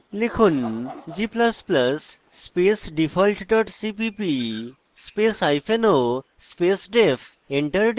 লিখুন g ++ space default dot cpp spaceo space def